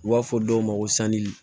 U b'a fɔ dɔw ma ko sanji